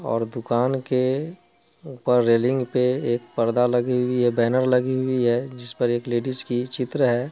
और दुकान के ऊपर रेलिंग पे एक पर्दा लगी हुई हैं बैनर लगी हुई हैं जिस पर एक लेडीज की चित्र हैं।